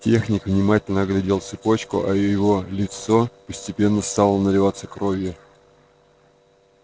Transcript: техник внимательно оглядел цепочку а его лицо постепенно стало наливаться кровью